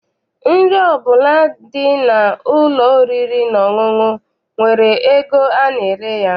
Nri ọbụla dị n'ụlọ oriri na ọṅụṅụ nwere ego ana-ere ya.